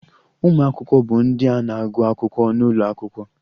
Ụmụ akwụkwọ bụ ndị a na-agụ akwụkwọ n'ụlọ akwụkwọ